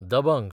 दबंग